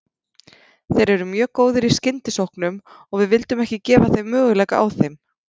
Þeir eru mjög góðir í skyndisóknum og við vildum ekki gefa þeim möguleika á þeim.